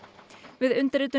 við undirritun